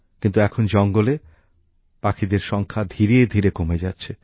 কিন্তু এখন জঙ্গলে পাখিদের সংখ্যা ধীরে ধীরে কমে যাচ্ছে